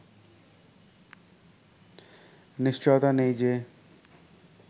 নিশ্চয়তা নেই যে